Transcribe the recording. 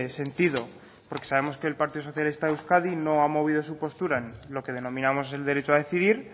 sentido porque sabemos que el partido socialista de euskadi no ha movido su postura en lo que denominamos el derecho a decidir